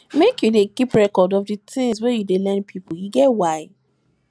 make you dey keep record of di tins wey you lend pipo e get why